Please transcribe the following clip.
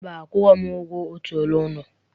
Mba, akwụghị m ụgwọ otu ọnụ ụlọ.